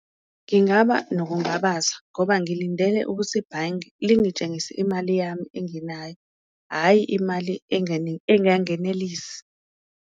Ngingaba nokungabaza ngoba ngilindele ukuthi ibhange lingitshengise imali yami engenayo, hhayi imali engangenelisi.